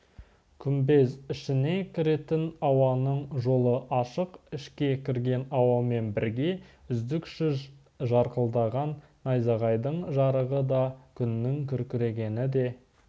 күмбез ішіне кіретін ауаның жолы ашық ішке кірген ауамен бірге үздіксіз жарқылдаған найзағайдың жарығы да күннің күркірегені де